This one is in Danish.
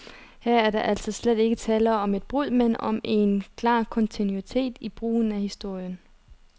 Her er der altså slet ikke tale om et brud, men om en klar kontinuitet i brugen af historien.